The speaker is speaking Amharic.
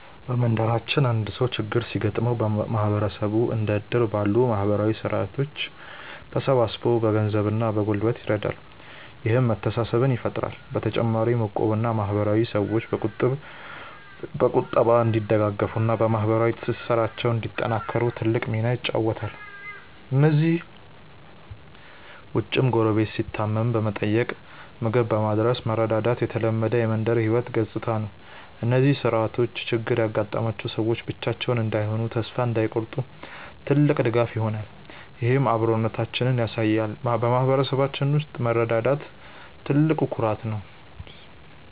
በመንደራችን አንድ ሰው ችግር ሲገጥመው ማህበረሰቡ እንደ እድር ባሉ ማህበራዊ ስርዓቶች ተሰባስቦ በገንዘብና በጉልበት ይረዳል፤ ይህም መተሳሰብን ይፈጥራል። በተጨማሪም እቁብና ማህበር ሰዎች በቁጠባ እንዲደጋገፉና ማህበራዊ ትስስራቸውን እንዲያጠናክሩ ትልቅ ሚና ይጫወታሉ። ከእነዚህ ውጭም ጎረቤት ሲታመም በመጠየቅና ምግብ በማድረስ መረዳዳት የተለመደ የመንደር ህይወት ገጽታ ነው። እነዚህ ስርዓቶች ችግር ያጋጠማቸው ሰዎች ብቻቸውን እንዳይሆኑና ተስፋ እንዳይቆርጡ ትልቅ ድጋፍ ይሆናሉ፤ ይህም አብሮነታችንን ያሳያል። በማህበረሰባችን ውስጥ መረዳዳት ትልቅ ኩራት ነው።